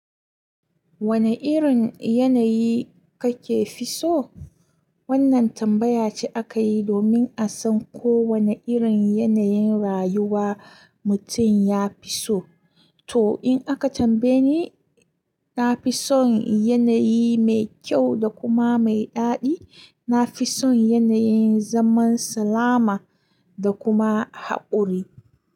Wane irin yanayi kake fiso? Wannan tambaya ce aka yi domin a san ko wane irin yanayin rayuwa mutum ya fi so. To, in aka tambaye ni, na fi son yanayi mai kyau da kuma mai daɗi. Na fi son yanayin zaman salama da kuma haƙuri.